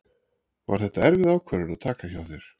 Var þetta erfið ákvörðun að taka hjá þér?